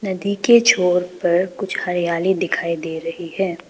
नदी के छोर पर कुछ हरियाली दिखाई दे रही है।